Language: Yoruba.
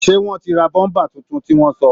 Seé wọ́n ti ra bọ́ḿbà tuntun tí wọ́n sọ̀